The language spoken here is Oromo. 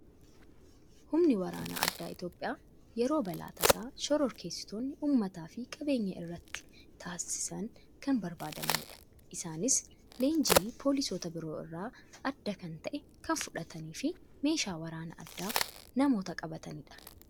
Humni waraana addaa Itoophiyaa yeroo balaa tasaa shororkeessitootni uummataa fi qabeenya irratti taasisan kan barbaadamanidha. Isaanis leenjii poolisoota biroo irraa adda kan ta'e kan fudhatanii fi meeshaa waraanaa addaa namoota qabatanidha.